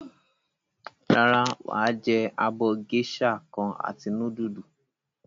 Rárá, wà á jẹ abọ́ géíṣà kan àti núdúlù.